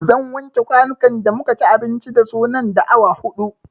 Zan wanke kwanukan da muka ci abinci da su nan da awa huɗu